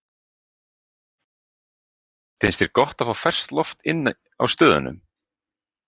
Lillý: Finnst þér gott að fá ferskt loft inn á stöðunum?